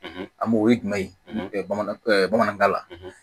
an m'o o ye jumɛn ye bamanan bamanankan na